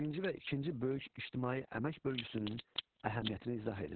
Birinci və ikinci böyük ictimai əmək bölgüsünün əhəmiyyətini izah edin.